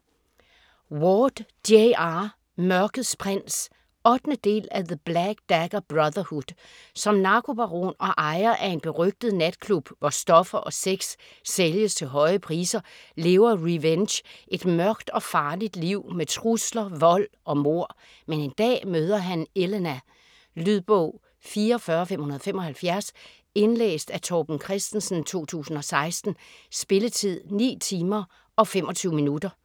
Ward, J. R.: Mørkets prins 8. del af The black dagger brotherhood. Som narkobaron og ejer af en berygtet natklub hvor stoffer og sex sælges til høje priser, lever Rehvenge et mørkt og farligt liv med trusler, vold og mord. Men en dag møder han Ehlena. Lydbog 44575 Indlæst af Torben Christensen, 2016. Spilletid: 9 timer, 25 minutter.